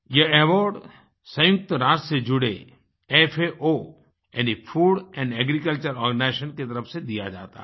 यह अवार्ड सयुंक्तराष्ट्र से जुड़े faओ यानी फूड एंड एग्रीकल्चर आर्गेनाइजेशन की तरफ से दिया जाता है